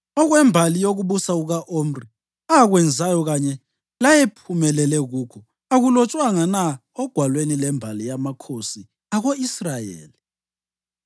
Okwembali yokubusa kuka-Omri, akwenzayo kanye layephumelele kukho, akulotshwanga na ogwalweni lwembali yamakhosi ako-Israyeli?